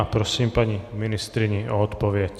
A prosím paní ministryni o odpověď.